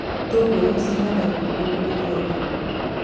Itũngũrũ cihandagwo nĩguo kũhũthĩa urĩmĩrĩ